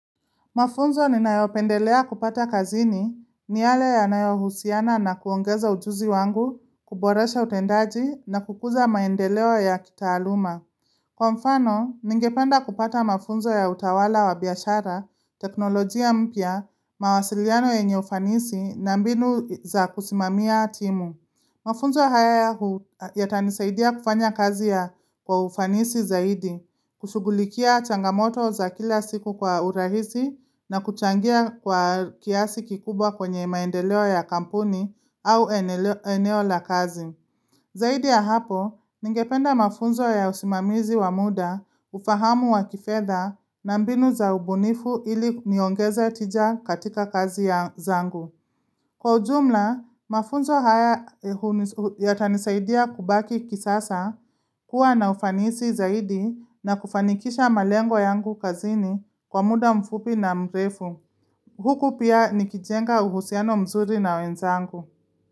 Mafunzo ni nayopendelea kupata kazini ni yale ya nayohusiana na kuongeza ujuzi wangu, kuboresha utendaji na kukuza maendeleo ya kitaaluma. Kwa mfano, ningependa kupata mafunzo ya utawala wa biashara, teknolojia mpya, mawasiliano ye nye ufanisi na mbinu za kusimamia timu. Mafunzo haya ya tanisaidia kufanya kazi ya kwa ufanisi zaidi, kushugulikia changamoto za kila siku kwa urahisi na kuchangia kwa kiasi kikubwa kwenye maendeleo ya kampuni au eneo la kazi. Zaidi ya hapo, ningependa mafunzo ya usimamizi wa muda, ufahamu wa kifedha na mbinu za ubunifu ili niongeze tija katika kazi ya zangu. Kwa ujumla, mafunzo haya yata nisaidia kubaki kisasa kuwa na ufanisi zaidi na kufanikisha malengo yangu kazini kwa muda mfupi na mrefu. Huku pia ni kijenga uhusiano mzuri na wenzangu.